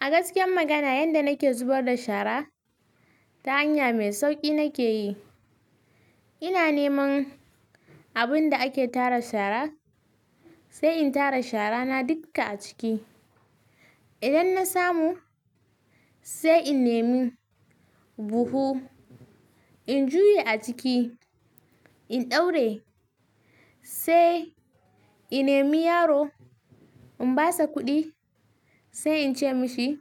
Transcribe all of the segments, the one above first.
A gaskiya magana, yanda nake zubar da shara, ta hanya mai sauƙi nake yi. Ina neman abun da ake tara shara sai in tara shara na dukka a ciki. Idan na samu sai in nemi buhu in juye a ciki in ɗaura sai in nemi yaro in basa kuɗi sai in ce mashi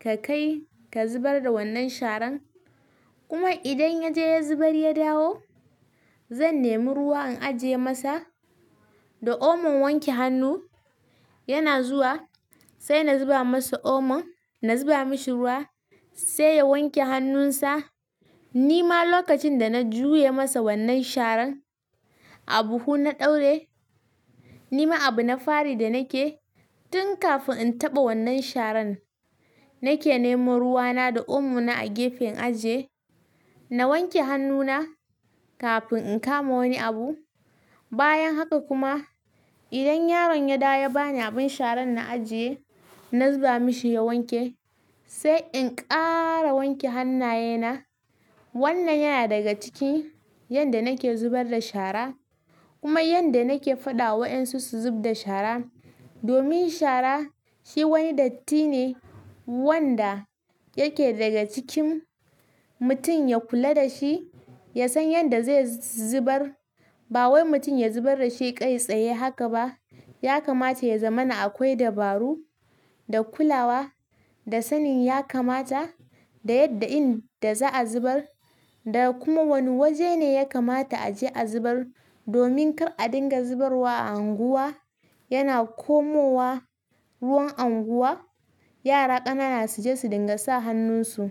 ka kai ka zubar da wannan sharan. Kuma idan ya je ya zubar ya dawo, zan nemi ruwa in ajiye masa da Omon wanke hannu yana zuwa sai na zuba masa Omon. Na zuba mashi ruwa sai ya wanke hannunsa. Ni ma lokacin da na juya masa wannan sharan a buhu na ɗaura, ni ma abu na fari da nake tun kafin in taɓa wannan sharan nake neman ruwa na da omo na a gefen in ajiye. Na wanke hannu na kafin in kama wani abu. Bayan haka kuma idan yaron ya dawo ya bani abin sharan na ajiye, na zuba mashi ya wanke sai in ƙara wanke hannaye na. Wannan yana daga ciki yanda nake zubar da shara kuma yanda nake faɗa wa ƴan su su zub da shara. Domin shara shi wani datti ne wanda yake daga cikin mutum ya kula da shi, ya san yanda zai zubar. Ba wai mutum ya zubar da shi kai tsaye haka ba. Ya kamata ya zama na akwai dabaru da kulawa da sanin ya kamata da yadda in da za a zubar da kuma wane waje ne ya kamata a je a zubar domin kar a dinga zubrwa a unguwa yana komowa ruwan unguwa. Yara ƙanana su je su dinga sa hannunsu.